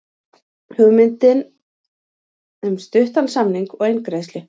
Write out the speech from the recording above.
Hugmyndir um stuttan samning og eingreiðslu